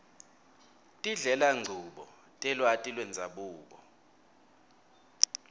tindlelanchubo telwati lwendzabuko